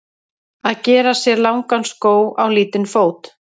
Að gera sér langan skó á lítinn fót